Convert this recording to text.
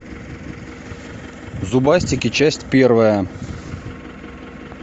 зубастики часть первая